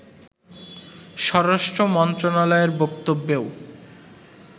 স্বরাষ্ট্র মন্ত্রণালয়ের বক্তব্যেও